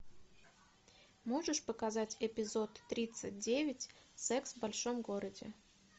можешь показать эпизод тридцать девять секс в большом городе